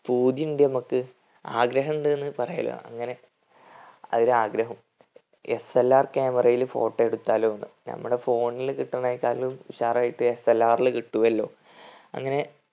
പൂതിയുണ്ട് നമ്മക്ക് ആഗ്രഹിണ്ട്ന്ന് പറയുല്ലോ അങ്ങനെ ഒരാഗ്രഹം SLRcamera യിൽ photo എടുത്താലോന്ന്. നമ്മളെ phone ൽ കിട്ടിന്നേനെക്കാളും ഉഷാറായിട്ട് SLR ൽ കിട്ടുവല്ലോ. അങ്ങനെ